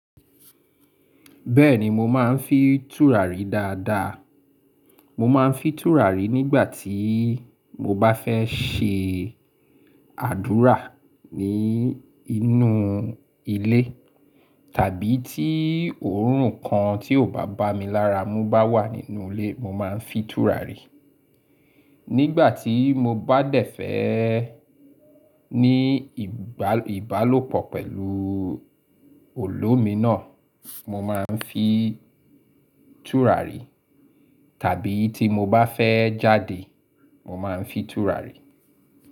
Bẹ́ẹ̀ni mo máa ń fi tùràrí dáadáa. Mo máa ń fi tùràrí nígbà tí mo bá fẹ́ ṣe àdúrà ní inú ilé tàbí tí òórùn kan tí ò bá bá mi lára mú bá wà nínú ilé, mo máa ń fi tùràrí. Nígbà tí mo bá dẹ̀fẹ̀ẹ́ ní ìbálòpọ̀ pẹ̀lú olómi náà, mo máa ń fi tùràrí tàbí tí mo bá fẹ́ jáde, mo máa ń fi tùràrí.